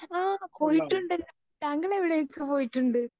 Speaker 2 ആ പോയിട്ട് ഉണ്ടല്ലോ താങ്കൾ എവിടെയൊക്കെ പോയിട്ടുണ്ട്?